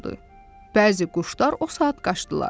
Bəzi quşlar o saat qaçdılar.